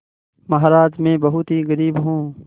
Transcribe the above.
महाराज में बहुत ही गरीब हूँ